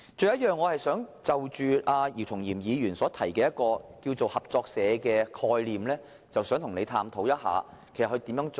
此外，就着姚松炎議員提出的合作社概念，我想與他探討應如何實行。